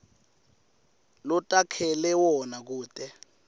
lotakhele wona kute